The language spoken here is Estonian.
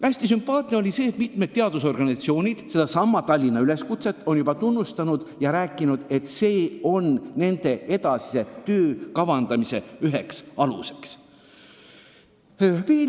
Hästi sümpaatne on, et mitmed teadusorganisatsioonid on sedasama "Tallinna üleskutset" juba tunnustanud ja kinnitanud, et see on nende edasise töö kavandamisel üks alus.